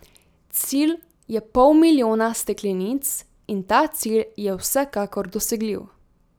Cilj je pol milijona steklenic in ta cilj je vsekakor dosegljiv.